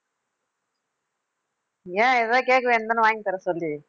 ஏன் ஏதாவது கேட்க வேண்டியது தானே வாங்கி தர சொல்லி